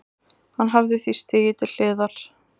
Hann hafi því stigið til hliðar